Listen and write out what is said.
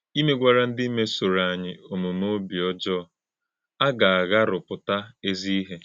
Ìmè̄gwàrā̄ ndị́ mèsòrò̄ ányị òmùmè̄ òbí ọ́jọọ̄ agà - àghárụ̀pụ̀tà ezì̄ ìhè̄.